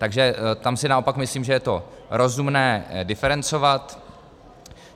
Takže tam si naopak myslím, že je to rozumné diferencovat.